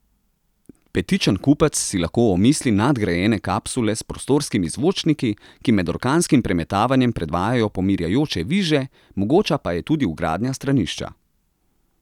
Petičen kupec si lahko omisli nadgrajene kapsule s prostorskimi zvočniki, ki med orkanskim premetavanjem predvajajo pomirjajoče viže, mogoča pa je tudi vgradnja stranišča.